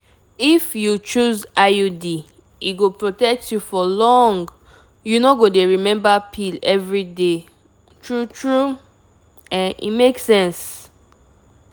if you choose iud e go protect you for longyou no go dey remember pill every day. true true um e make sense!